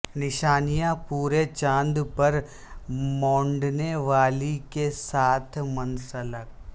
نشانیاں پورے چاند پر مونڈنے والی کے ساتھ منسلک